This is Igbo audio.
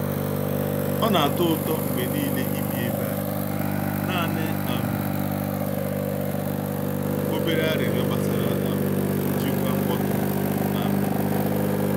Ọ na-atọ ụtọ mgbe niile ibi ebe a; naanị um obere arịrịọ gbasara um njikwa mkpọtụ. um